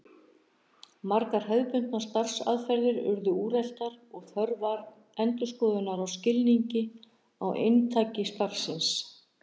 Margar hefðbundnar starfsaðferðir urðu úreltar og þörf var endurskoðunar á skilningi á inntaki starfsins.